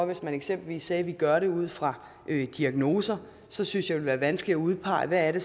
vi for eksempel sagde at vi gjorde det ud fra diagnoser så synes jeg være vanskeligt at udpege hvad det